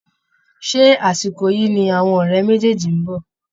Ṣé àsìkò yìí ni àwọn ọ̀rẹ́ méjèèjì ń bọ̀?